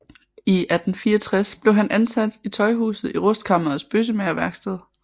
I 1864 blev han ansat i Tøjhuset i rustkammerets bøssemagerværksted